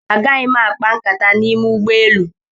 Agaghị m akpa nkata n'ime ụgbọelu.